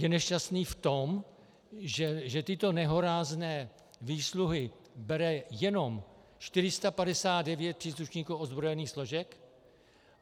Je nešťastný v tom, že tyto nehorázné výsluhy bere jenom 459 příslušníků ozbrojených složek?